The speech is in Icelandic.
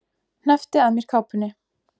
Hneppti að mér kápunni.